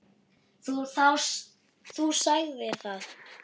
Þú sagðir það.